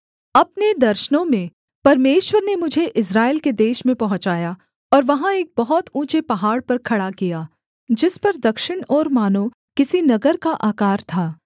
अपने दर्शनों में परमेश्वर ने मुझे इस्राएल के देश में पहुँचाया और वहाँ एक बहुत ऊँचे पहाड़ पर खड़ा किया जिस पर दक्षिण ओर मानो किसी नगर का आकार था